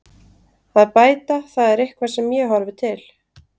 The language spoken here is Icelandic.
Að bæta það er eitthvað sem ég horfi til.